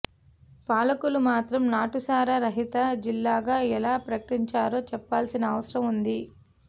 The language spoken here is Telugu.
పాలకులు మాత్రం నాటుసారా రహిత జిల్లాగా ఎలా ప్రకటించారో చెప్పాల్సిన అవసరం ఉంది